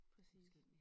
Præcis